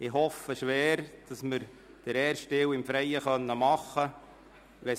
Ich hoffe schwer, dass wir den ersten Teil im Freien abhalten können.